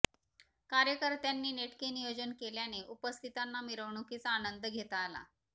कार्यकर्त्यांनी नेटके नियोजन केल्याने उपस्थितांना मिरवणुकीचा आनंद घेता आला